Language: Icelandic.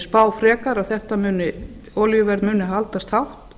spá frekar að olíuverð muni haldast hátt